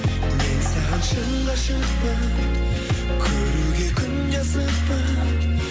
мен саған шын ғашықпын көруге күнде асықпын